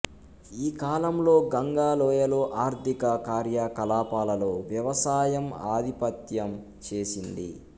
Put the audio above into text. ఈ కాలంలో గంగా లోయలో ఆర్థిక కార్యకలాపాలలో వ్యవసాయం ఆధిపత్యం చేసింది